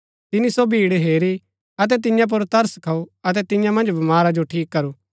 तिनी सो भीड़ हेरी अतै तियां पुर तरस खाऊ अतै तियां मन्ज बमारा जो ठीक करू